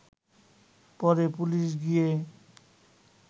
পরে পুলিশ গিয়ে